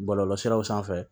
Bɔlɔlɔsiraw sanfɛ